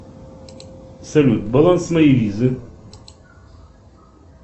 салют баланс моей визы